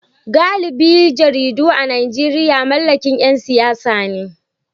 Galibin jaridu a Najeriya mallakin ‘yan siyasa ne